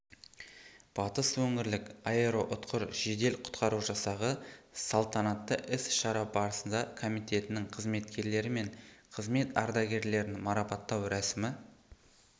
батыс өңірлік аэроұтқыр жедел құтқару жасағы салатанатты іс-шара барасында комитетінің қызметкерлері мен қызмет ардагерлерін марапаттау рәсімі